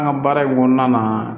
An ka baara in kɔnɔna na